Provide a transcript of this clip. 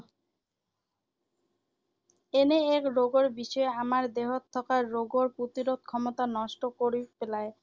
এনে এক ৰোগৰ যিয়ে আমাৰ দেহত থকা ৰোগ প্ৰতিৰোধ ক্ষমতা নষ্ট কৰি পেলায়।